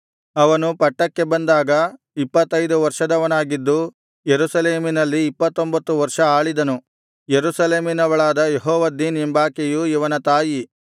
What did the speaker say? ಅವನು ಪಟ್ಟಕ್ಕೆ ಬಂದಾಗ ಇಪ್ಪತ್ತೈದು ವರ್ಷದವನಾಗಿದ್ದು ಯೆರೂಸಲೇಮಿನಲ್ಲಿ ಇಪ್ಪತ್ತೊಂಬತ್ತು ವರ್ಷ ಆಳಿದನು ಯೆರೂಸಲೇಮಿನವಳಾದ ಯೆಹೋವದ್ದೀನ್ ಎಂಬಾಕೆಯು ಇವನ ತಾಯಿ